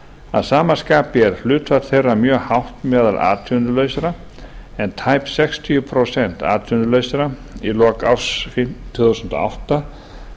að sama skapi er hlutfall þeirra mjög hátt meðal atvinnulausra en tæp sextíu prósent atvinnulausra í lok árs tvö þúsund og átta